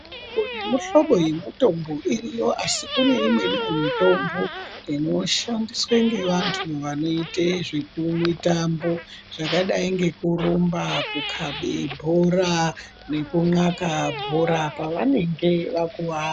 Mihlobo nemuhlobo yemutombo iriyo asi kune imweniwo mitombo inoshandiswe ngevantu vanoite zvemutambo, zvakadayi ngekurumba, kukabe bhora, nekunxaka bhora pavanenge vakuvara.